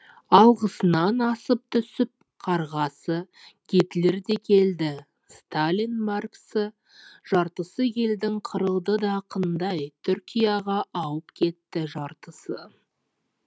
алғысынан асып түсіп қарғасы гитлер де келді сталин марксі жартысы елдің қырылды да қындай түркияға ауып кетті жартысы